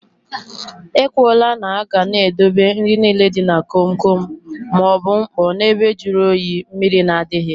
E kwụọ là na aga n'edobe nri nile dị na kom kom maọbụ mkpọ na ebe jụrụ oyi, mmrir na adịghị